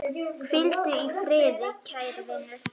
Hvíldu í friði, kæri vinur.